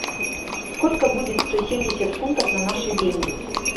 сколько будет сто семьдесят фунтов на наши деньги